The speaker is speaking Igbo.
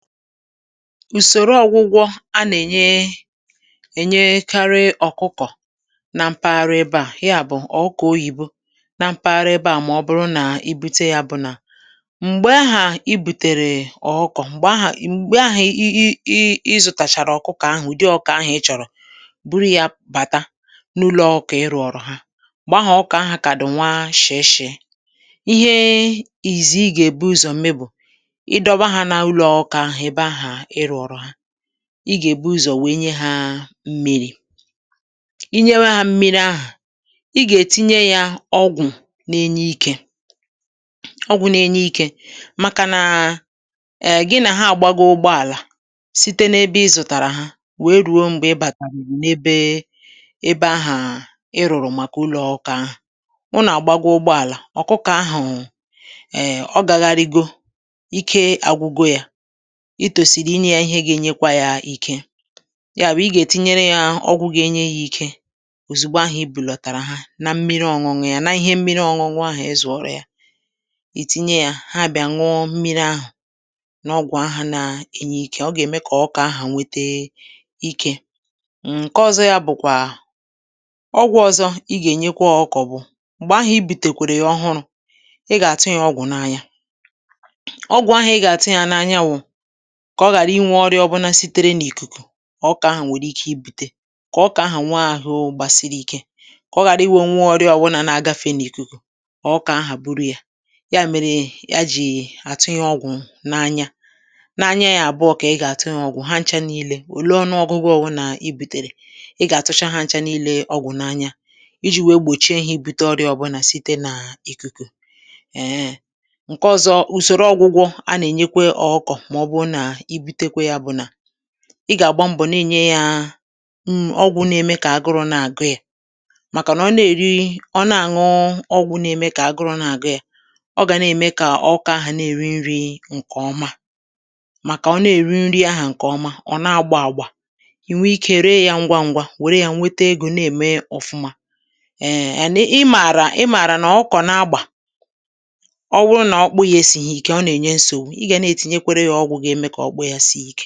ùsòro ọ̀gwụgwọ a nà-ènye ènyekarị ọ̀kụkọ na mpaghara ebe à ya bụ̀ ọ̀ụkọ̀ oyìbo na mpaghara ebe à mà ọ bụrụ na i bute ȳa bụ̀ nà m̀gbè ahà i bùtèrè ọ̀ụkọ m̀gbè ahà m̀gbè ahà i i ị zụ̀tàchàrà ọ̀kụkọ̀ ahụ̀ ụ̀dị ọkụkọ̀ ahụ̀ ị chọ̀rọ̀ buru yā bàta n’ụlọ̄ ṅ̀kè ị rụ̀ọ̀rọ̀ ha m̀gbè ahụ̀ ọ̀ụkọ̀ ahà kà dị̀ nwa shị̀ishị̀ị ihee ìzìzì ị gà-èbu ụzọ̀ me bụ̀ ị dọba hā n’ụlọ̀ ọkụkọ̀ ahà ebe ahà ị rụ̀ọ̀rọ̀ ha ị gà-èbu ụzọ̀ wèe nye hā mmirī i nyewe hā mmiri ahà ị gà-ètinye yā ọgwụ̀ na-enye ikē ọgwụ̄ na-enye ikē màkà nàà èèh gị nà ha àgbago ụgbọàlà site n’ebe ị zụ̀tàrà ha wèe rùo m̀gbè ị bàtàrùrù n’ebee ebe ahàà ị rụ̀rụ̀ màkà ụlọ̄ ọụkọ̀ ahà unù àgbago ụgbọàlà ọ̀kụkọ̀ ahù̩ um, ọ gāghārīgō ike àgwụgo yā i tòsìrì inyē yā ihe gā-enyekwa yā ike ya bụ̀ ị ga-ètinyere yā ọgwụ ga-enye yā ike òzugbo ahụ̀ i bulọ̀tàrà ha na mmiri ọ̄ṅụ̄ṅụ̄ yā n’ihe mmiri ọ̄ṅụ̄ṅụ̄ ahà ị zụ̀ọ̀rọ̀ ya ì tinye yā ha bịā nụọ mmiri ahà nà ọgwụ̀ ahà na-enye ikē ọ gà-ème kà ọ̀ụ̀kọ̀ ahà nwete ike um ṅ̀ke ọ̄zọ̄ yā bụ̀kwà ọgwụ̄ ọ̄zọ̄ ị gà-ènyekwa ọkụkọ̀ bụ̀ m̀gbè ahà i bùtèkwèrè yà ọhụrụ̄ ị gà -àtụ yā ọgwụ̀ n’anya ọgwụ̀ ahù̩ ị gà-àtụ yā n‘anya wụ̀ kà ọ ghàra inwē ọrịā ọbụnā sitere n’ìkùkù ọ̀ụkọ̀ ahà nwèrè ike ibūtē kà ọ̀ụkọ ahà nwee ahụ gbasiri ike kà ọ ghàra ịwụ̄ o nwee orịà ọwụnà na-agafe n’ìkùkù ọ̀ụkọ̀ ahà buru yā ya mèrè a jì àtụ yā ọgwụ̀ n’anya n’anya ya àbụ̀ọ kà ị gà-àtụ yā ọgwụ̀ ha ncha niilē òle ọnụọgụ̄gụ̄ ọwụnà i bùtèrè ị gà-àtụcha ha ncha niilē ọgwụ̀ n’anya ijī wèe gbòchie hā ibutē ọrịà ọbụnà site n’ìkùkù èhenhè ṅ̀ke ọ̄zọ̄ ùsoro ọgwụgwọ a nà-ènyekwa ọụkọ̀ mà ọbụrụ nà i butekwe yā bụ̀ nà ị gà-àgba mbọ̀ nà-ènye yāā um ọgwụ̄ na-eme kà agụrụ̄ na-àgụ yā màkà nà ọ na-èri ọ na-ànụ̇ụ ọgwụ̄ na-eme kà agụrụ̄ na-àgụ yā ọ gà na-ème kà ọ̀ụkọ̀ ahà na-èri nrī ṅ̀kè ọma màkà ọ na-èri nri ahà ṅ̀kè ọma ọ̀ na-agbā àgbà ì nwee ikē ree yā ṅgwaṅ̄gwā wère yā nwete egō na-ème ọfụma èèn èni i mààrà i mààrà nà ọ̀ụkọ̀ na-agbà ọ wụrụ nà ọkpụkpụ yā esīghī īkē ọ nà-ènye nsogbù ị gà na-etinyekwere yā ọgwụ̄ ga-eme kà ọkpụkpụ yā sie ikē